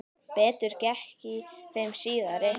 Betur gekk í þeim síðari.